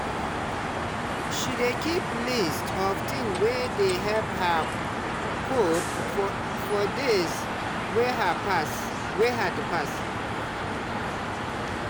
she dey keep list of things wey dey help her cope for days wey hard pass.